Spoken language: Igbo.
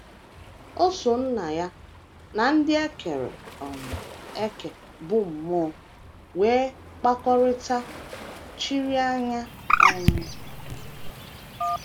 O so Nna ya na ndị e kere um eke bụ́ mmụọ nwee mkpakọrịta chiri anya um.